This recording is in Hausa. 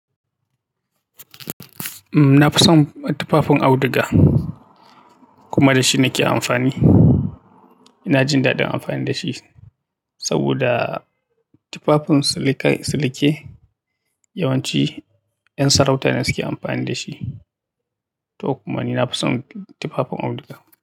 Na fi son tufafin auduga kuma da shi nake amfani. Ina jin daɗin amfani da shi saboda tufafin silike yawanci 'yan sarauta ne suke amfani da shi. To kuma ni na fi son tufafin auduga.